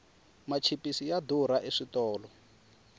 machipisi ya durha eswitolo